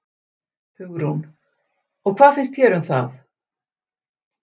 Hugrún: Og hvað finnst þér um það?